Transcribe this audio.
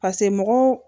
pase mɔgɔw